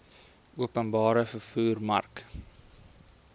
openbare vervoer mark